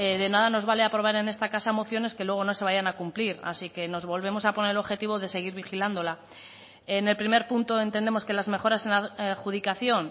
de nada nos vale aprobar en esta casa mociones que luego no se vayan a cumplir así que nos volvemos a poner el objetivo de seguir vigilándola en el primer punto entendemos que las mejoras en la adjudicación